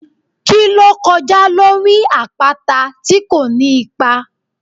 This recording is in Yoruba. Ki lo kojá lorí apata ti ko ní ipá?